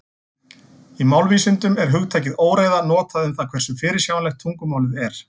Í málvísindum er hugtakið óreiða notað um það hversu fyrirsjáanlegt tungumálið er.